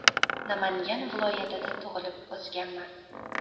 Namangan viloyatida tug‘ilib o‘sganman.